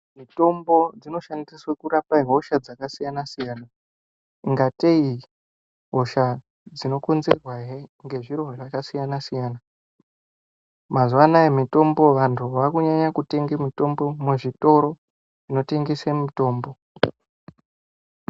Mitombo dzinoshandiswe kurape hosha dzakasiyanasiyana ingatei hosha dzinokonzerwahe ngezviro zvakasiyanasiyana mazuwano anaya mitombo vanhu vaakunyanye kutenge mitombo muzvitoro zvinotengese mitombo.